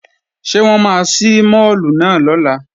Ṣé wọ́n máa ṣí máàlù náà lọ́la?